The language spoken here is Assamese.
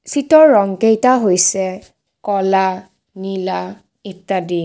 চিটৰ ৰং কেইটা হৈছে ক'লা নীলা ইত্যাদি।